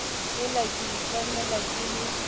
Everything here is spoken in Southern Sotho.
hela ke itlamela ke le